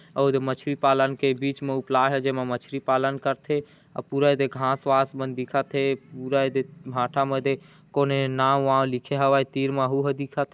और इधर मछली पालन के बिच में उपला है जैमे मछली पालन करथे अ पूरा एदे घास वास मन दिखाथे पूरा एदे भाटा मदे कोने नांव वाव लिखे हवे तीर मा उहो दिखाथे।